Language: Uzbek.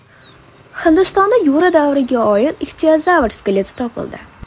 Hindistonda Yura davriga oid ixtiozavr skeleti topildi.